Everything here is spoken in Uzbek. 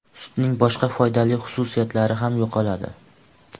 Sutning boshqa foydali xususiyatlari ham yo‘qoladi.